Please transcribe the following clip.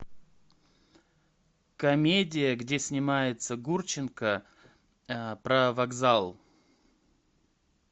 комедия где снимается гурченко про вокзал